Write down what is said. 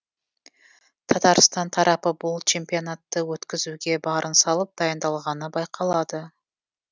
татарстан тарапы бұл чемпионатты өткізуге барын салып дайындалғаны байқалады